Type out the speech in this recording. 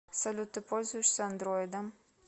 салют ты пользуешься андроидом